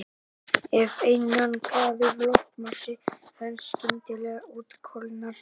Ef einangraður loftmassi þenst skyndilega út kólnar hann.